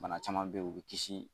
Bana caman bɛ yen u bɛ kisi